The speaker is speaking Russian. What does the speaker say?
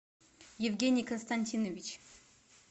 евгений константинович